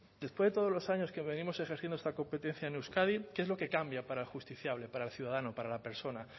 después de todos los años que venimos ejerciendo esta competencia en euskadi qué es lo que cambia para para el ciudadano para la persona